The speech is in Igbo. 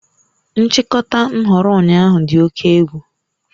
Nchịkọta nhọrọ ụnyaahụ dị oke egwu